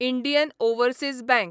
Indian overseas bank